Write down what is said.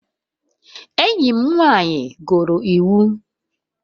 Enyi m nwanyị gụrụ iwu